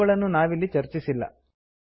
ಅವುಗಳನ್ನು ನಾವಿಲ್ಲಿ ಚರ್ಚಿಸಿಲ್ಲ